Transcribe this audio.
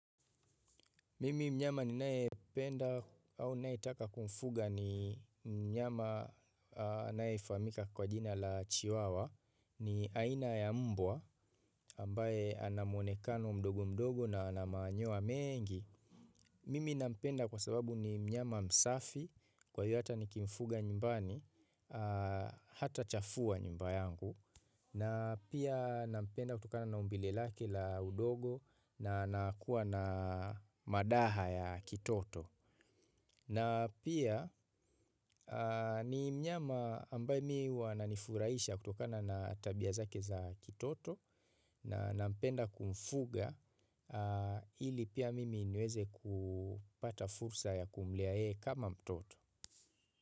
Mimi mnyama ninayependa au nae taka kumfuga ni mnyama anaye famhaika kwa jina la chiwawa ni aina ya mbwa ambaye ana muonekano mdogo mdogo na ana manyoya mengi. Mimi nampenda kwa sababu ni mnyama msafi kwa hivyo hata nikimfuga nyumbani hata chafua nyumba yangu. Na pia nampenda kutokana na umbile lake la udogo na anakuwa na madaha ya kitoto. Na pia ni mnyama ambaye mimi huwa ananifuraisha kutokana na tabia zake za kitoto na nampenda kumfuga ili pia mimi niweze kupata fursa ya kumlea yeye kama mtoto.